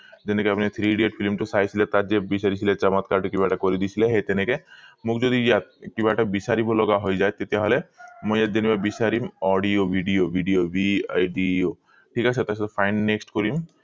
যেনেকে আপুনি three idiot film টো চাইছিলে তাত যে বিছাৰিছিলে‌ সমৎকাৰ দি কিবা এটা কৰি দিছিলে সেই তেনেকে মোক যদি ইয়াত কিবা এটা বিছাৰিব লগা হৈ যায় তেতিয়া হলে মই ইয়াত যেনিবা বিছাৰিম audio video video video ঠিক আছে তাৰ পিছত find next কৰিম